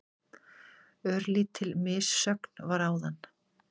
Örlítil missögn var áðan.